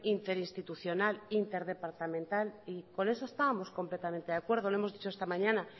interinstitucional interdepartamental y con eso estábamos completamente de acuerdo lo hemos dicho esta mañana